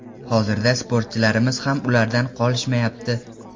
Hozirda sportchilarimiz ham ulardan qolishmayapti.